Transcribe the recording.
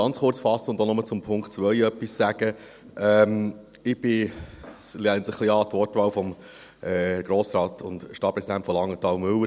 Ich lehne mich etwas an die Wortwahl von Herrn Grossrat Müller an, Stadtpräsident von Langenthal: